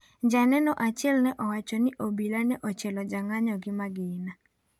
Janeno achiel ne owacho ni obila ne ochielo jong'anyo gi magina.